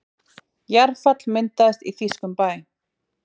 Jarðfall myndaðist í þýskum bæ